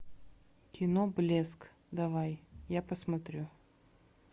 кино блеск давай я посмотрю